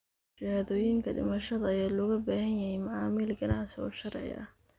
Shahaadooyinka dhimashada ayaa looga baahan yahay macaamil ganacsi oo sharci ah.